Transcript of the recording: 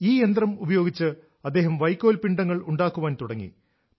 ഈ യന്ത്രം ഉപയോഗിച്ച് അദ്ദേഹം വൈക്കോൽ പിണ്ഡങ്ങൾ ഉണ്ടാക്കാൻ തുടങ്ങി